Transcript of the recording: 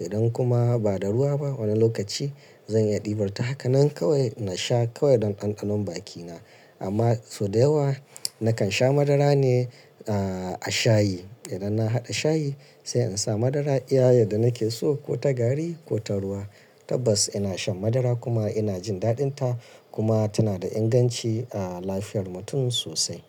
Idan kuma ba da ruwa ba wani lokaci zan yi ɗibar ta haka. Nan kawai na sha kawai don ɗanɗanon bakina. Amma sau da yawa nakan sha madara ne, ah, a shayi. Idan na haɗa shayi sai in sa madara iya yadda nake so ko ta gari ko ta ruwa. Tabbas ina shan madara kuma ina jin daɗin ta kuma tana da inganci, ah, lafiyar mutum sosai.